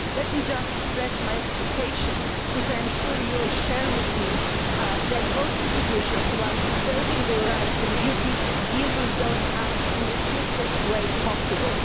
Let me just express my expectation which I am sure you share with me that both institutions, while preserving their rights and duties, will deal with those acts in the swiftest way possible.